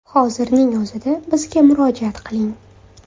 Hozirning o‘zida bizga murojaat qiling!